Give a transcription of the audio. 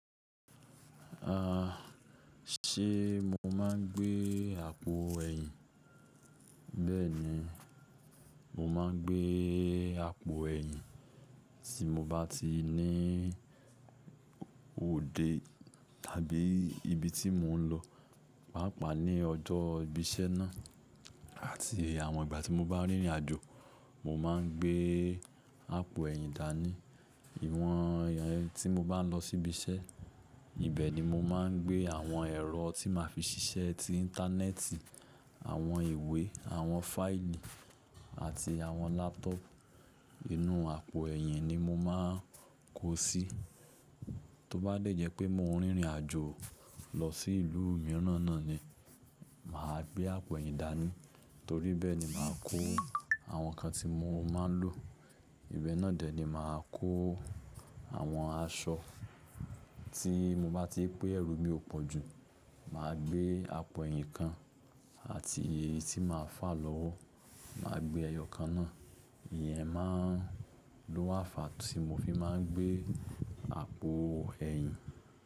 Ah, ṣé mo máa ń gbé àpò ẹ̀yìn? Bẹ́ẹ̀ni, mo máa ń gbé àpò ẹ̀yìn tí mo bá ti ní òde tàbí ibi tí mo ń lọ, pàápàá ní ọjọ́ ìbí iṣẹ́ náà àti àwọn ìgbà tí mo bá rìnrìn àjò. Mo máa ń gbé àpò ẹ̀yìn dání. Ìwọ̀n ìyẹn tí mo bá ń lọ síbi iṣẹ́, ibẹ̀ ni mo máa ń gbé àwọn ẹ̀rọ tí màá fi ṣiṣẹ́ ti íńtánẹ́ẹ̀tì, àwọn ìwé, àwọn fáìlì àti àwọn lápútọọ̀pu. Inú àpò ẹ̀yìn ni mo máa ń kó síi. Tó bá dẹ̀jẹ́ pé mo ń rìnrìn àjò lọ sí ìlú mìíràn náà ni, mà á gbé àpò ẹ̀yìn dání torí bẹ́ẹ̀ ni màá kó àwọn ǹkan tí mo máa ń lò. Ìbẹ náà dẹ̀ ni màá kó àwọn aṣọ. Tí mo bá ti pé ẹrù mi ò pọ̀ jú, mà á gbé àpò ẹ̀yìn kan àti èyí tí màá fà lọ́wọ́, mà á gbé ẹyọ kan náà. Ìyẹn máa ń lo wá fàá tí mo fi máa ń gbé àpò ẹ̀yìn.